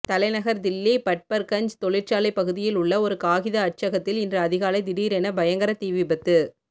தலைநகர் தில்லி பட்பர்கஞ்ச் தொழிற்சாலை பகுதியில் உள்ள ஒரு காகித அச்சகத்தில் இன்று அதிகாலை திடீரென பயங்கர தீ விபத்து